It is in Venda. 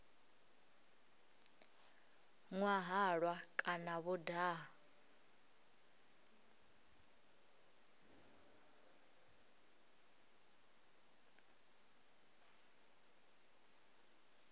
nwa halwa kana vho daha